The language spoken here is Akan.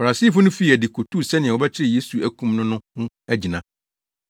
Farisifo no fii adi kotuu sɛnea wɔbɛkyere Yesu akum no no ho agyina.